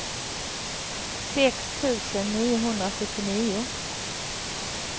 sex tusen niohundrasjuttionio